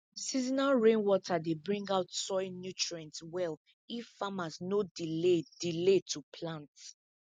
seasonal rainwater dey bring out soil nutrients well if farmers no delay delay to plant